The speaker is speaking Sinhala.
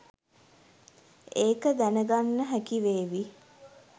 ඒක දැනගන්න හැකි වේවි